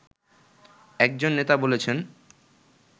একজন নেতা বলেছেন